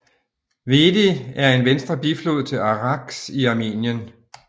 Vedi er en venstre biflod til Araks i Armenien